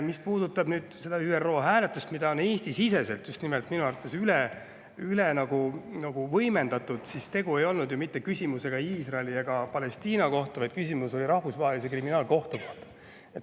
Mis puudutab seda ÜRO hääletust, mida Eesti-siseselt minu arvates üle võimendatakse, siis tegu ei olnud ju mitte küsimusega Iisraeli ega Palestiina kohta, vaid küsimus oli Rahvusvahelise Kriminaalkohtu kohta.